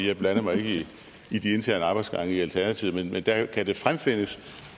jeg blander mig ikke i de interne arbejdsgange i alternativet men der kan det fremfindes